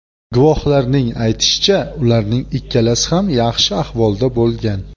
Guvohlarning aytishicha, ularning ikkalasi ham yaxshi ahvolda bo‘lgan.